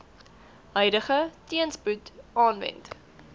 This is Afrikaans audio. huidige teenspoed aanwend